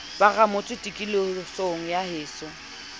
ba ramotse tikolohong ya heso